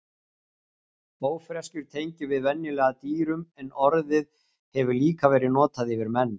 Ófreskjur tengjum við venjulega dýrum en orðið hefur líka verið notað yfir menn.